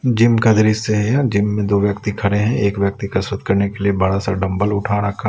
gym का दृश्य है यह जिम में दो व्यक्ति खड़े हैं एक व्यक्ति का शोध करने के लिए बड़ा सा डंबल उठा रखा--